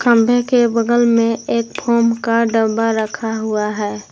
खंभे के बगल में एक फोम का डब्बा रखा हुआ है।